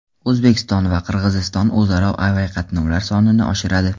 O‘zbekiston va Qirg‘iziston o‘zaro aviaqatnovlar sonini oshiradi.